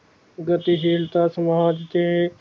ਗਤਿਦੀਨਤਾ ਸਮਾਜ਼ ਦੇ